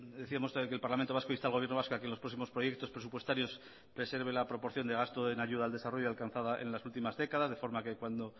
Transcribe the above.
decíamos que el parlamento vasco insta al gobierno vasco a que en los próximos proyectos presupuestarios preserve la proporción de gasto en ayuda al desarrollo alcanzada en las últimas décadas de forma que cuando